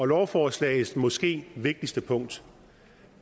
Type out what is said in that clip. lovforslagets måske vigtigste punkt